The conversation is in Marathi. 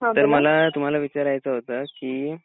तर मला तुम्हाला विचारायचं होतं की